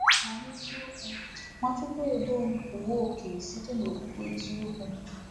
Ma n’eziokwu, Nwachukwuendom pụọwo oke site n’okpukpe eziokwu.